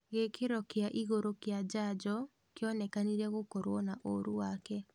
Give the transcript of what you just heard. Gĩkĩro kĩa igũru kĩa njanjo kĩonekenire gũkorwo na ũũru wake